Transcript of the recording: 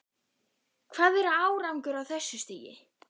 Hvað er árangur á þessu stigi?